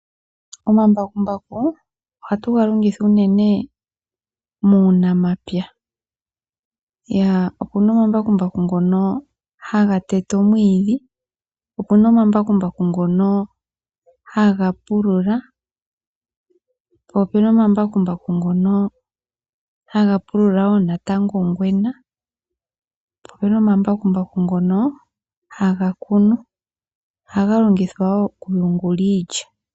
Omambakumbaku ohatu ga longitha unene muunamapya, okuna omambakumbaku ngono haga tete omwiidhi, opuna omambakumbaku ngono haga pulula, po opena omambakumbaku ngono haga pulula wo natango ongwena. Po opena omambakumbaku ngono haga kunu, ohaga longithwa wo okuyungula iilya.